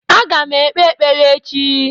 Aga m ekpe ekpere echi